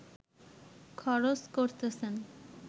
খরচ করতেছেন